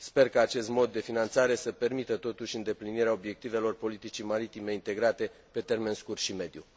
Sper ca acest mod de finanțare să permită totuși îndeplinirea obiectivelor politicii maritime integrate pe termen scurt si mediu.